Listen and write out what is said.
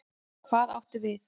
Hvað áttu við?